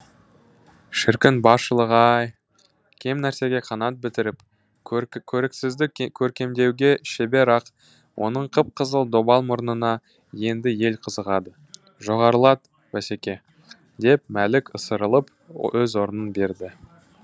шіркін баршылық ай кем нәрсеге қанат бітіріп көріксізді көркемдеуге шебер ақ оның қып қызыл добал мұрнына енді ел қызығады жоғарылат басеке деп мәлік ысырылып өз орнын берді